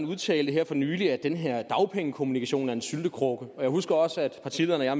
udtalte her for nylig at den her dagpengekommission er en syltekrukke og jeg husker også da partilederne og